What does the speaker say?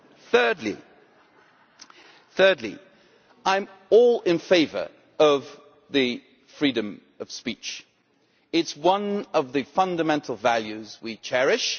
Thirdly, I am all in favour of freedom of speech, it is one of the fundamental values we cherish.